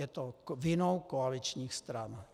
Je to vinou koaličních stran.